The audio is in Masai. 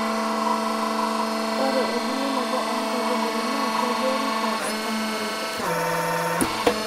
ore ebulunoto oo nkaitubulu naa keiboori te mponaroto